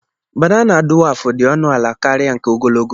Banana dúwafụ dị ọnụ ala karịa nke ogologo